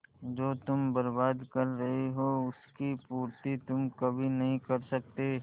जो तुम बर्बाद कर रहे हो उसकी पूर्ति तुम कभी नहीं कर सकते